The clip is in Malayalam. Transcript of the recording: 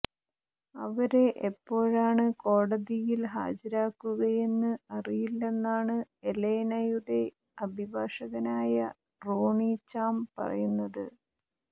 അവരെ എപ്പോഴാണ് കോടതിയിൽ ഹാജരാക്കുകയെന്ന് അറിയില്ലെന്നാണ് എലെനയുടെ അഭിഭാഷകനായ റോണി ചാം പറയുന്നത്